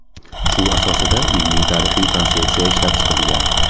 Shu asosida ilmiy-tarixiy konsepsiya ishlab chiqilgan.